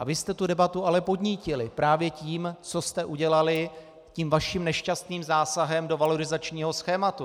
A vy jste tu debatu ale podnítili právě tím, co jste udělali tím vaším nešťastným zásahem do valorizačního schématu.